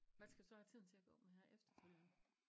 Hvad skal du så have tiden til at gå med her efterfølgende?